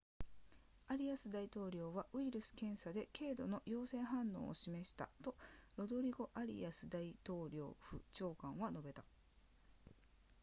アリアス大統領はウイルス検査で経度の陽性反応を示したとロドリゴアリアス大統領府長官は述べた